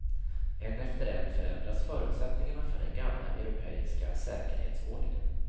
En efter en förändras förutsättningarna för den gamla europeiska säkerhetsordningen.